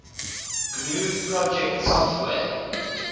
gnu project software